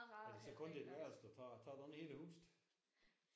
Er det så kun dit værelse du tager? Tager du ikke hele huset?